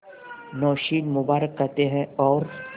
नौशीन मुबारक कहते हैं और